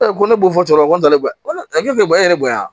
ko ne b'o fɔ cɛkɔrɔba ko ne ba ko ayi e yɛrɛ bonya